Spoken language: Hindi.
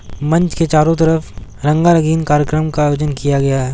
मंच के चारो तरफ रंगा-रंगीन कार्यक्रम का आयोजन किया गया है।